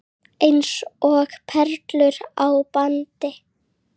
Eins og perlur á bandi.